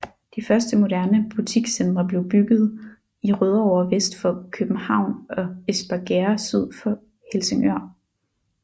De første moderne butikscentre blev byggede i Rødovre vest for København og Espergærde syd for Helsingør